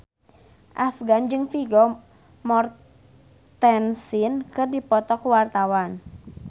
Afgan jeung Vigo Mortensen keur dipoto ku wartawan